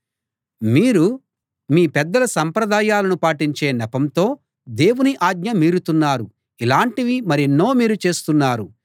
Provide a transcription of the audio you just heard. మీరు మీ పెద్దల సంప్రదాయాలను పాటించే నెపంతో దేవుని ఆజ్ఞ మీరుతున్నారు ఇలాంటివి మరెన్నో మీరు చేస్తున్నారు